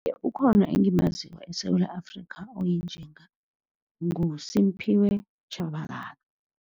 Ukhona engimaziko eSewula Afrika oyinjinga, nguSimphiwe Tshabalala.